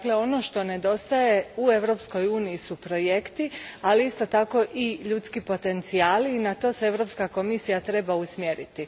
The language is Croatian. Dakle, ono što nedostaje u Europskoj uniji su projekti, ali isto tako i ljudski potencijali, i na to se Europska komisija treba usmjeriti.